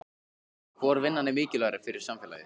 Hvor vinnan er mikilvægari fyrir samfélagið?